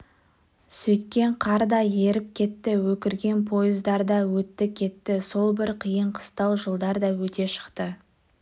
сөйткен қар да еріп кетті өкірген пойыздар да өтті-кетті сол бір қиын-қыстау жылдар да өте шықты